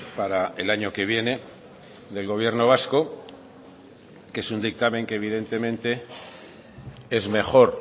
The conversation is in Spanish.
para el año que viene del gobierno vasco que es un dictamen que evidentemente es mejor